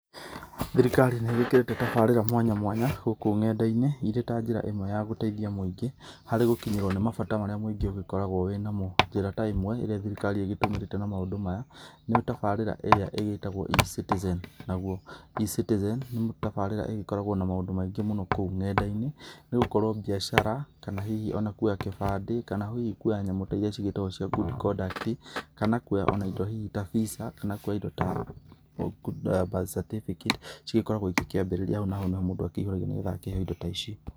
Thirikari nĩ ĩgĩkĩrĩte tabarĩra mwanya mwanya gũkũ ng'enda-inĩ irĩ ta njĩra ĩmwe ya gũteithia mũingĩ harĩ gũkinyĩrwo nĩ mabata marĩa mũingĩ ũgĩkoragwo wĩ namo. Njĩra ta ĩmwe ĩrĩa thirikari ĩgĩtũmĩrĩte na maũndũ maya, nĩ tabarĩra ĩrĩa ĩgĩtagwo E-Citizen. Naguo E-Citizen nĩ tabarĩra ĩgĩkoragwo na maũndũ maingĩ mũno kou ng'enda-ini, nĩ gũkorwo biacara, kana hihi o na kuoya kĩbandĩ kana hihi kuoya nyamũ ta iria cigĩtagwo cia good conduct kana kuoya o na indo hihi ta Visa kana kuoya indo ta Birth Certificate cigĩkoragwo igĩkĩambĩrĩria hau naho nĩho mũndũ akĩihũragĩria nĩgetha akĩheo indo ta ici.